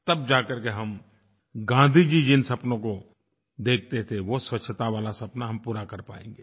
तब जा करके हम गाँधी जी जिन सपनों को देखते थे वो स्वच्छता वाला सपना हम पूरा कर पाएँगे